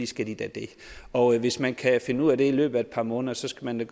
skal de da det og hvis man kan finde ud af det i løbet af et par måneder skal man jo